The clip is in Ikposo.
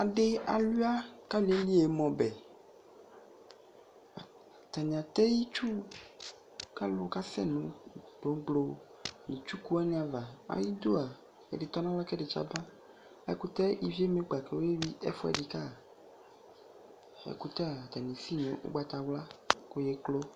adi awlia kʋ aliɛli ɛmɛ ɔbɛ ,ataniatɛ itsʋ kʋ alʋ kasɛ nʋ gbɔgbɔ nʋ itsʋkʋ wani aɣa, bʋa ayidʋa ɛdi atɔnʋ alɔ kʋ ɛdi yaba ɛkʋtɛ iviɛ ɛmɛ kpa kʋ ɔyɛ wi ɛƒʋɛdi ka ɛkʋtɛa atani ɛsʋi nʋɔgbatawla kɔyɛklɔ